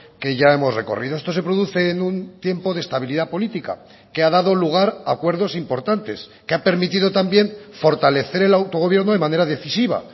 que ya hemos recorrido esto se produce en un tiempo de estabilidad política que ha dado lugar a acuerdos importantes que ha permitido también fortalecer el autogobierno de manera decisiva